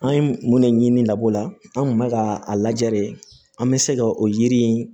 An ye mun de ɲini labɔ la an tun bɛ ka a lajɛ de an bɛ se ka o yiri in